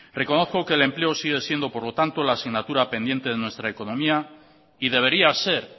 reconozco que el empleo sigue siendo por lo tanto la asignatura pendiente en nuestra economía y debería ser